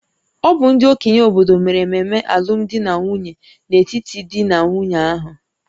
Ọ bụ ndị okenye obodo mere ememe alụmdi na nwunye n'etiti di na nwunye ahụ